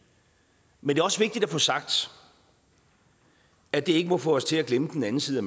men det er også vigtigt at få sagt at det ikke må få os til at glemme den anden side af